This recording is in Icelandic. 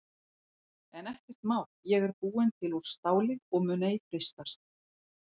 En ekkert mál ég er búin til úr STÁLI og mun ei freistast.